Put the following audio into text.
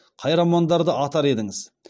қай романдарды атар едіңіз